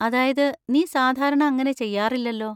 അതായത്, നീ സാധാരണ അങ്ങനെ ചെയ്യാറില്ലല്ലോ.